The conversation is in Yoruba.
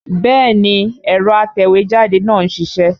Bẹ́ẹ̀ni ẹ̀rọ atẹ̀wẹ́jáde náà ń ṣiṣẹ́